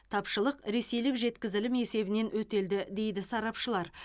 тапшылық ресейлік жеткізілім есебінен өтелді дейді сарапшылар